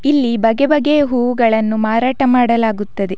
ಇಲ್ಲಿ ಬಗೆ ಬಗೆಯ ಹೂಗಳನ್ನು ಮಾರಾಟ ಮಾಡಲಾಗುತ್ತದೆ.